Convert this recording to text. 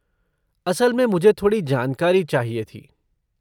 असल में मुझे थोड़ी जानकारी चाहिए थी।